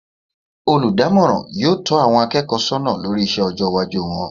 Olùdámòràn yóò tó àwon akéèkó sónà lórí isé ojó iwájú won